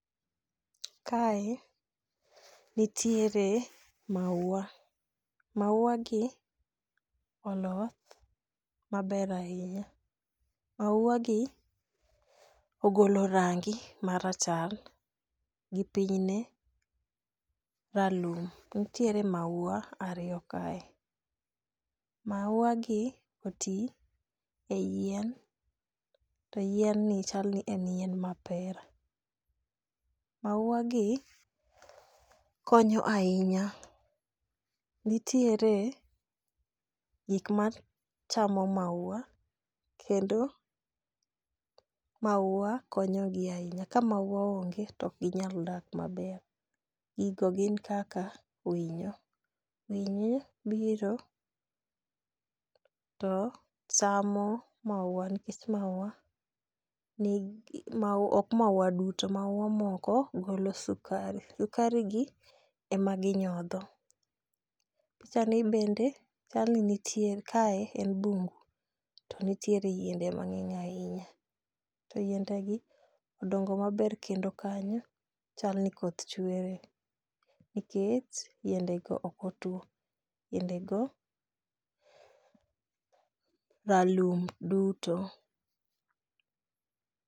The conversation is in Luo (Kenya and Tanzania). Kae, nitiere maua. Mauagi oloth maber ahinya. Mauagi ogolo rangi marachar gi pinyne, ralum. Nitiere maua ariyo kae, mauagi oti e yien, to yienni chal ni en yien mapera. Mauagi konyo ahinya. Nitiere gik ma chamo maua, kendo maua konyogi ahinya. Ka maua onge to ok ginyal dak maber, gigo gin kaka winyo, winyo biro to chamo maua nikech ok maua duto, maua moko golo sukari, sukari gi ema ginyodho. Pichani bende chal ni nitie, kae en bungu to nitiere yiende mang'eny ahinya to yiendegi odongo maber kendo kanyo chal ni koth chweye, nikech yiendego ok otuwo. Yiendego ralum duto.